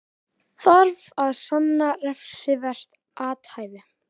Þarf að sanna refsivert athæfi